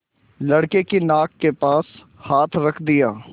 लड़के की नाक के पास हाथ रख दिया